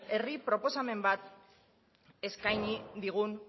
herri proposamen bat eskaini digun